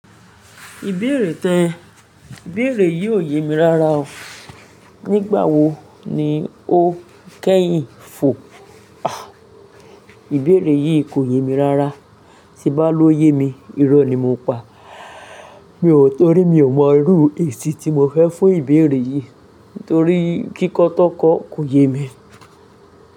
Ìbéèrè tẹ́, ìbéèrè yìí ò yemi rara. Nígbà wo ni ó kẹ́yìn fò? Àh, ìbéèrè yìí kò yemi rara. Tí n bá lóyemi, irọ́ ni mo pa. Mi ò torí mi ò mọ irú èsì tí mo fẹ́ fún ìbéèrè yìí torí kíkọ́ tan kọ́ kò yemi.